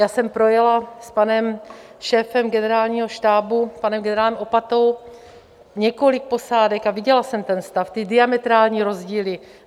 Já jsem projela s panem šéfem generálního štábu, panem generálem Opatou, několik posádek a viděla jsem ten stav, ty diametrální rozdíly.